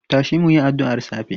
Tashi mu yi addu'ar safe!